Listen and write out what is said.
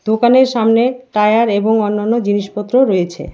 দোকানের সামনে টায়ার এবং অন্যান্য জিনিসপত্র রয়েছে।